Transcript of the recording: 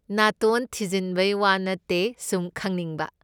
ꯅꯥꯇꯣꯟ ꯊꯤꯟꯖꯤꯟꯕꯩ ꯋꯥ ꯅꯠꯇꯦ ꯁꯨꯝ ꯈꯪꯅꯤꯡꯕ꯫